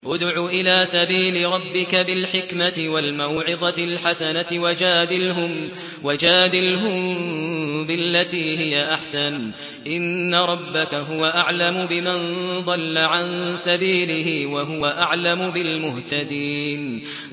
ادْعُ إِلَىٰ سَبِيلِ رَبِّكَ بِالْحِكْمَةِ وَالْمَوْعِظَةِ الْحَسَنَةِ ۖ وَجَادِلْهُم بِالَّتِي هِيَ أَحْسَنُ ۚ إِنَّ رَبَّكَ هُوَ أَعْلَمُ بِمَن ضَلَّ عَن سَبِيلِهِ ۖ وَهُوَ أَعْلَمُ بِالْمُهْتَدِينَ